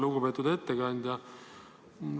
Lugupeetud ettekandja!